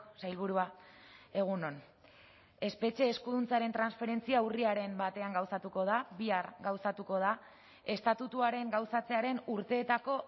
sailburua egun on espetxe eskuduntzaren transferentzia urriaren batean gauzatuko da bihar gauzatuko da estatutuaren gauzatzearen urteetako